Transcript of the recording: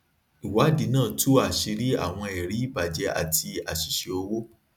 ìwádìí náà tú àṣírí àwọn ẹrí ìbàjẹ àti àṣìṣe owó